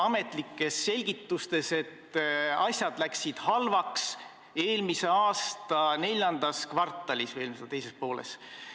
Ametlikes selgitustes on viidatud, et asjad läksid halvaks eelmise aasta IV kvartalis või eelmise aasta teises pooles.